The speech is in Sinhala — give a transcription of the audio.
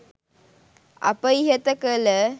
අප ඉහත කළ